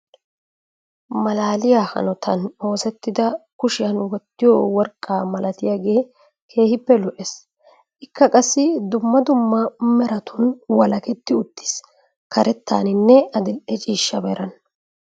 Malaaliyaa hanotan oosettida kushshiyaan wottiyoo worqqaa milatiyaagee keehippe lo"ees. ikka qassi dumma dumma meratun walaketi uttiis. karettaanine adil"e ciishsha meran.